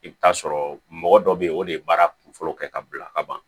I bɛ taa sɔrɔ mɔgɔ dɔ bɛ yen o de ye baara kunfɔlɔ kɛ ka bila ka ban